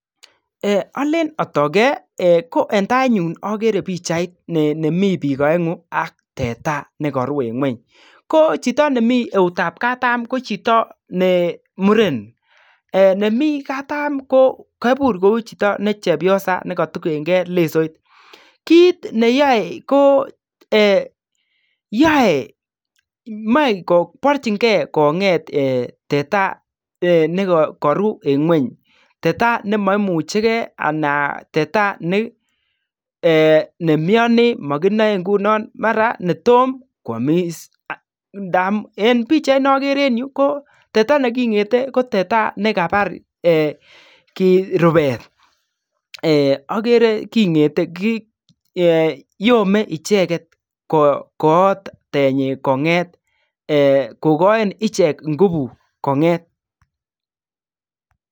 Eeeh Olen otogen ko eng tainyun ogere pichait ne nemi bik oengu ak teta nekoru eng ngwony ko chito nemi eutab katam ko chito ne muren eeh nemi katam ko kobur kou chito ne chepyosa nekotugengen lesoit kit neyoe ko eeh yoe moe ko borjingen konget eeh teta eeh nekoruu eng ngwony teta nemoimuchigen anan teta ne eeh nemioni eeh mokinoe ingunon mara netom kwamis aah ndamun eng pichait ne ogere eng yuu ko teta nekingete ko teta nekabar eeh kit rubet eeh ogere kingete eeh yome icheket koot tinyi konget eeh kokoin ichek ingubu konget.